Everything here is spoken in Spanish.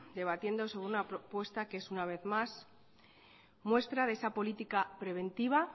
debatiendo sobre una propuesta que es una vez más muestra de esa política preventiva